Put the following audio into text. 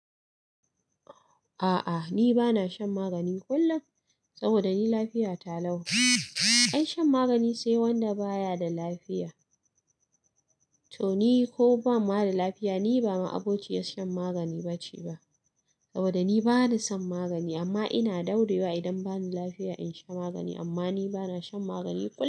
A'a ni bana shan magani kullum saboda ni lafiya ta lau. Ai shan magani sai wanda baya da lafiya. To ni ko ba ma da lafiya ni ba ma abokaci shan magani ba ce ba saboda ni bana son magani amma ina daɗrewa idan bani lafiya in sha magani amma ni bana shan magani kullum.